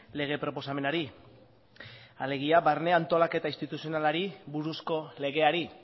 lege proposamenari alegia barne antolaketa instituzionalari buruzko legeari